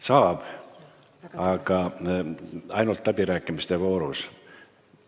Saab, aga ainult läbirääkimiste voorus.